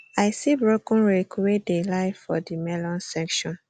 i see broken rake wey dey lie for the melon section